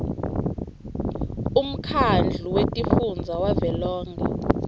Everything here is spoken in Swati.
umkhandlu wetifundza wavelonkhe